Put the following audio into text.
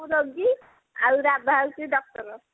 ମୁଁ ରୋଗୀ ଆଉ ରାଧା ହଉଛି doctor